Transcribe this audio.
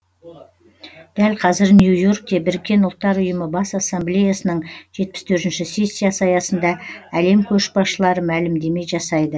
дәл қазір нью йоркте біріккен ұлттар ұйымы бас ассамблеясының жетпіс төртінші сессиясы аясында әлем көшбасшылары мәлімдеме жасайды